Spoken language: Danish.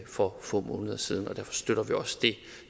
for få måneder siden og derfor støtter vi også det